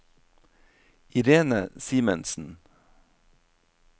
Irene Simensen